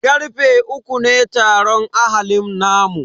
Karfe uku ne taron ahalin namu.